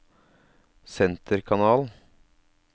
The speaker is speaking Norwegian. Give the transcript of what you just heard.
senterkanal